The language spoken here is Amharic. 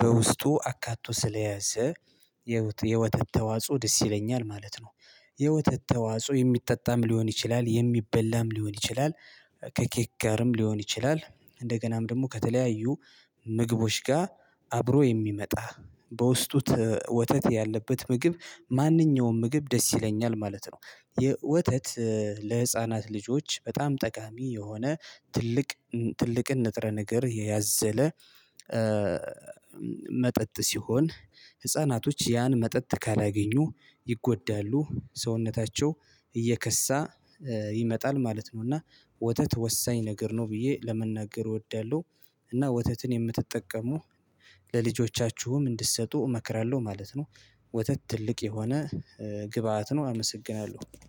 በውስጡ አካቶ ስለያዘ የወተት ተዋጽኦ ደስ ይለኛል ማለት ነው። የወተት ተዋጽኦ የሚጠጣም ሊሆን ይችላል የሚበላም ሊሆን ይችላል ከኬክ ጋርም ሊሆን ይችላል እንደገናም ደግሞ ከተለያዩ ምግቦች ጋር አብሮ የሚመጣ በውስጡ ወተት ያለበት ምግብ ማንኛውም ምግብ ደስ ይለኛል ማለት ነው። የወተት ለህፃናት ልጆች በጣም ጠቃሚ የሆነ ትልቅ ትልቅን ንጥረ ነገር የያዘለ መጠጥ ሲሆን ህፃናቶች ያን መጠጥ ካላገኙ ይጎዳሉ ሰውነታቸው እየከሳ ይመጣል ማለት ነው። እና ወተት ወሳኝ ነገር ነው ብዬ ለመናገር እወዳለሁ። እና ወተትን የምትጠቀሙ ለልጆቻችሁም እንድትሰጡ እመክራለሁ ማለት ነው። ወተት ትልቅ የሆነ ግብአት ነው አመሰግናለሁ።